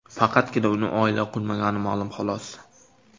Faqatgina uning oila qurmagani ma’lum, xolos.